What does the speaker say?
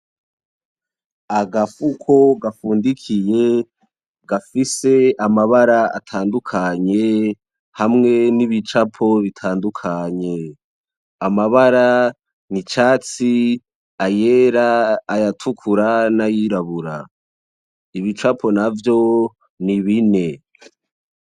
Agafuko gafundikiye gafise amabara atandukanye hamwe n'ibicapo bitandutakanye. Amabara ni icatsi ,ayera, ayatukura n'ayirabura .Ibicapo navyo ni bine.